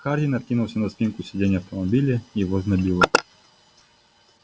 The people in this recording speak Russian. хардин откинулся на спинку сидения автомобиля его знобило